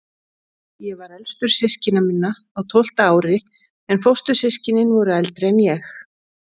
Ég var elstur systkina minna, á tólfta ári, en fóstur- systkinin voru eldri en ég.